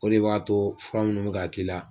O de b'a to fura munnu be k'a k'i la